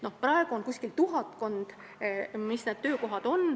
Praegu on tuhatkond töökohta.